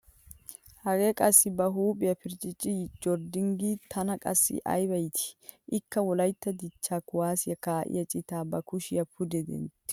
Hagee qassi ba huuohiya pirccicci joyriding tana qassi aybba iitti, ikka wolaytta dichcha kuwaasiya kaai'iya citaa ba kushiya pude dentti uttiis.